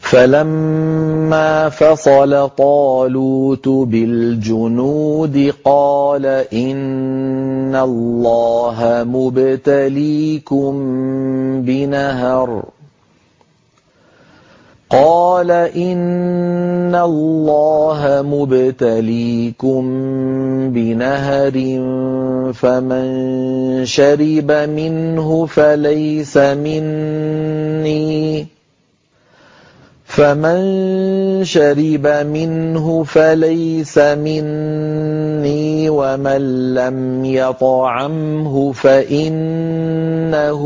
فَلَمَّا فَصَلَ طَالُوتُ بِالْجُنُودِ قَالَ إِنَّ اللَّهَ مُبْتَلِيكُم بِنَهَرٍ فَمَن شَرِبَ مِنْهُ فَلَيْسَ مِنِّي وَمَن لَّمْ يَطْعَمْهُ فَإِنَّهُ